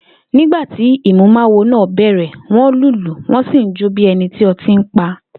Nígbà tí ìmúmawo náà bè̩rè̩, wó̩n lùlù wó̩n sì ń jó bí e̩ni tí o̩tí pa